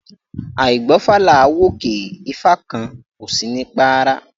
Áì gbọfá là ń wòkè, ifá kan ó sini párá